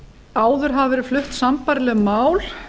áður hafa verið flutt sambærileg mál